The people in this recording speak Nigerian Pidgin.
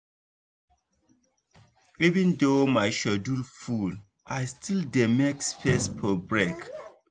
even though my schedule full i still dey make space for break.